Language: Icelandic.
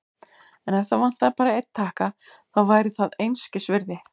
En ef það vantaði bara einn takka, þá væri það einskisvirði.